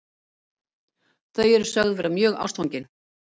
Þau eru sögð vera mjög ástfangin